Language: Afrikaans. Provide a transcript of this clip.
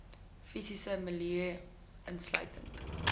fisiese milieu insluitend